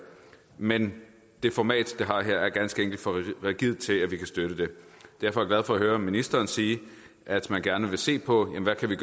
men det format det har her er ganske enkelt for rigidt til at vi kan støtte det derfor er for at høre ministeren sige at man gerne vil se på hvad der kan